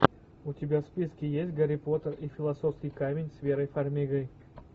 у тебя в списке есть гарри поттер и философский камень с верой фармигой